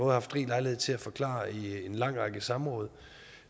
haft rig lejlighed til at forklare i en lang række samråd